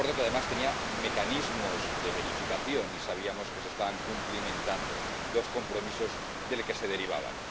Un acuerdo que, además, tenía mecanismos de verificación, y sabíamos que se estaban cumpliendo los compromisos que de él se derivaban.